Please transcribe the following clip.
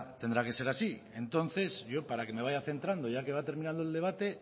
tendrá que ser así entonces yo para que me vaya centrando ya que va terminando el debate